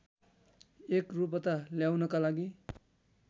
एकरूपता ल्याउनका लागि